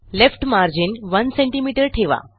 left margin 100सीएम ठेवा